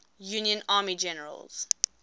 union army generals